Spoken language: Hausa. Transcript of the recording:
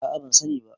a a ban sani ba